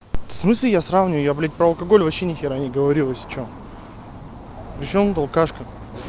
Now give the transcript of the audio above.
в смысле я сравню я блядь по алкоголь вообще ни хера не говорил если что при чём тут алкашка